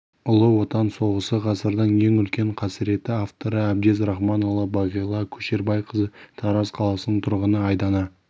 ұлы отан соғысы ғасырдың ең үлкен қасіреті авторы әбдез рахманұлы бағила көшербайқызы тараз қаласының тұрғыны айдана